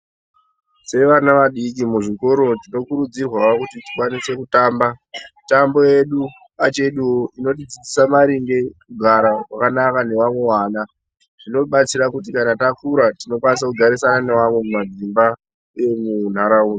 Sevana vadiki muzvikoro tinokurudzirwao kuti tikwanise kutamba mitambo yedu pacheduo inotidzidzisao maringe kugara kwakanaka nevamwe vana zvinotibatsira kuti kana takura tinokwanisa kugarisana nevamwe mumadzimba emunharaunda